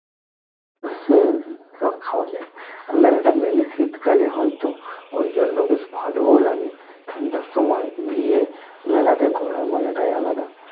হুমঃ তা খাওয়া যায় আর মেলা তা mainly শীতকালে হয় তো ওই জন্য বেশ ভালো ও লাগে ঠান্ডার সময় গিয়ে মেলা তে ঘুরার মজা টাই আলাদা